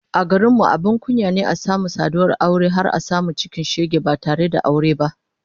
A garin mu abin kunya ne a samu saduwar aure har a samu cikin shege ba tare da aure ba